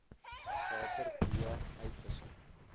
water b uitwissing